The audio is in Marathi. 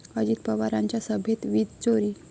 अजित पवारांच्या सभेत वीजचोरी